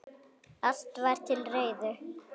Allt var til reiðu.